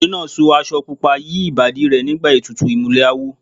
Ọkùnrin náà so aṣọ pupa yí Ìbàdí rẹ̀ nígbà ètùtù ìmùlẹ̀ awo.